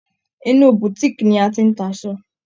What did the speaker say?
Inú Boutique ni a ti n ta aṣọ.